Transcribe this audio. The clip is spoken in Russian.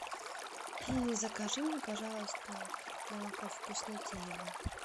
закажи мне пожалуйста молоко вкуснотеево